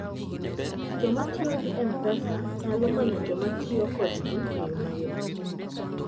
Joma tiyo gi M-Pesa nyalo manyo joma tiyo kodgi e yo mayot.